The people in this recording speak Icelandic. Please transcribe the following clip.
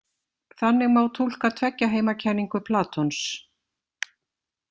Þannig má túlka tveggjaheimakenningu Platons.